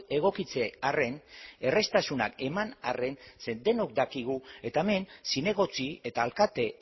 egokitze arren erraztasunak eman arren ze denok dakigu eta hemen zinegotzi eta alkate